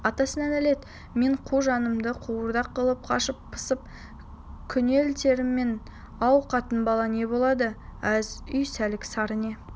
атасына нәлет мен қу жанымды қуырдақ қылып қашып-пысып күнелтермін-ау қатын-бала не болады аз үй сәлік-сары не